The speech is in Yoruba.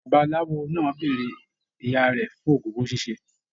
Babaláwo náà béèrè ìyá rẹ fún ogún owó ṣiṣe.